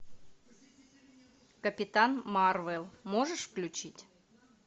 капитан марвел можешь включить